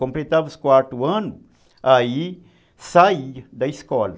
Completava os quatro anos, aí saía da escola.